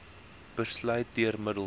besluit deur middel